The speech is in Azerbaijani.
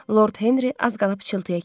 Lord Henri az qala pıçıltıya keçdi.